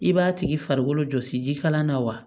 I b'a tigi farikolo jɔsi jikalan na wa